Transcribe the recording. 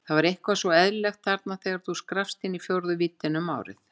Þetta var eitthvað svo eðlilegt, þarna þegar þú skrappst inn í fjórðu víddina um árið.